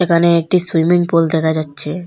এখানে একটি swimming pool দেখা যাচ্ছে।